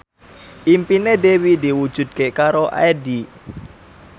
impine Dewi diwujudke karo Addie